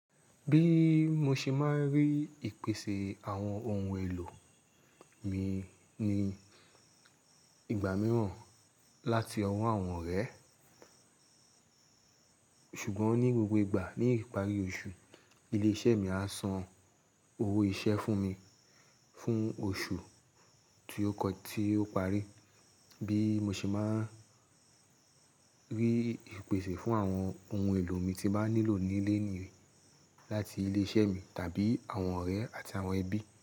Bí mo ṣe máa ń rí ìpèsè àwọn ohun èlò mi ní ìgbà mìíràn láti ọwọ́ àwọn ọ̀rẹ́. Ṣùgbọ́n ní gbogbo ìgbà ní ìparí oṣù, ilé-iṣẹ́ mi á san owó iṣẹ́ fún mi fún oṣù tí ó kọjá tí ó parí. Bí mo ṣe máa ń rí ìpèsè fún àwọn ohun èlò mi tí màá nílò nílé ni láti ilé-iṣẹ́ mi tàbí àwọn ọ̀rẹ́ àti àwọn ẹbí.